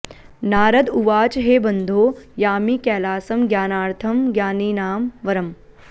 नारद उवाच हे बन्धो यामि कैलासं ज्ञानार्थं ज्ञानिनां वरम्